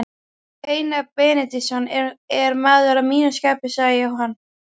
Einar Benediktsson er maður að mínu skapi, sagði Jóhann.